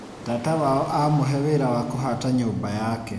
Tata wao amũhe wĩra wa kũhata nyũmba yake.